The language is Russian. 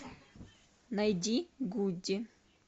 найди гуди